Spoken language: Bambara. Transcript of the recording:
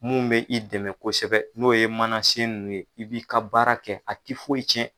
Mun bɛ i dɛmɛ kosɛbɛ n'o ye manasen nun ye i b'i ka baara kɛ a ti foyi cɛn.